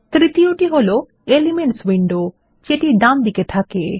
তৃতীয়টি হল elements window যেটি ডানদিকে দেখা থাকে